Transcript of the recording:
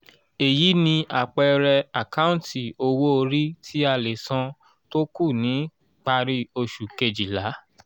èyí ni àpẹẹrẹ àkáǹtì owó orí tí a lè san tó kù ni parí oṣù kejìlá